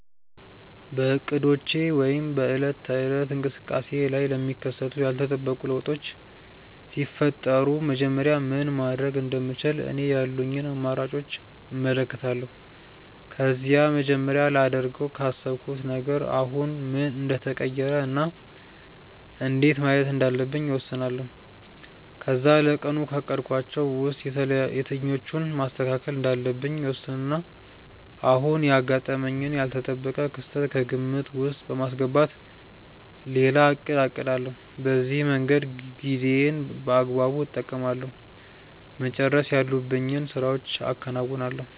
በእቅዶቼ ወይም በዕለት ተዕለት እንቅስቃሴዬ ላይ ለሚከሰቱ ያልተጠበቁ ለውጦች ሲፈጠሩ መጀመሪያ ምን ማድረግ እንደምችል እኔ ያሉኝን አማራጮች እመለከታለሁ። ከዛ መጀመሪያ ላደርገው ካሰብኩት ነገር አሁን ምን እንደተቀየረ እና እንዴት ማየት እንዳለብኝ እወስናለሁ። ከዛ ለቀኑ ካቀድኳቸው ውስጥ የትኞቹን ማስተካከል እንዳለብኝ እወስንና አሁን ያጋጠመኝን ያልተጠበቀ ክስተት ከግምት ውስጥ በማስገባት ሌላ እቅድ አቅዳለሁ። በዚህ መንገድ ጊዜዬን በአግባቡ እጠቀማለሁ፤ መጨረስ ያሉብኝን ስራዎችም አከናውናለሁ።